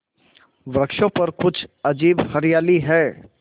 वृक्षों पर कुछ अजीब हरियाली है